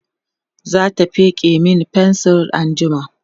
zata feke Mani fensir anjima